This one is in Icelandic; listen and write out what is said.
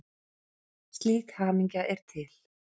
Slík hamingja er til.